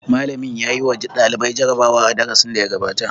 Malamin ya yi wa ɗalibai jarabawa a darasin da ya gabata.